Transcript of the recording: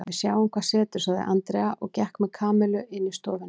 Við sjáum hvað setur sagði Andrea og gekk með Kamillu inn í stofuna.